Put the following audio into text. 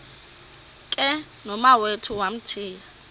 ke nomawethu wamthiya